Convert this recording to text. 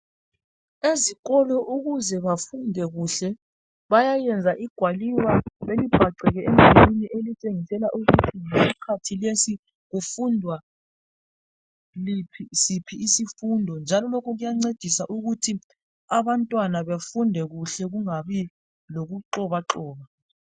Ezikolo ukuze bafunde kuhle bayayenza igwaliba belibhaceke emdulwini elitshengisela ukuthi isikhathi lesi kufundwa siphi isifundo njalo lokhu kuyancedisa ukuthi abantwana befunde kuhle kungabi lokuxobaxoba.